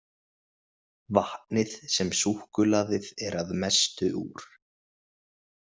Vatnið sem súkkulaðið er að mestu úr.